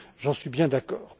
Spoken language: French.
Je suis bien d'accord.